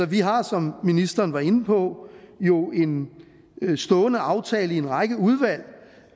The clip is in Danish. vi har jo som ministeren var inde på en en stående aftale i en række udvalg